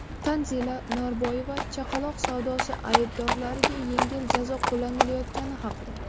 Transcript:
Tanzila Norboyeva chaqaloq savdosi aybdorlariga yengil jazo qo‘llanilayotgani haqida.